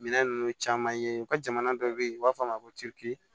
Minɛn ninnu caman ye u ka jamana dɔ bɛ yen u b'a fɔ a ma ko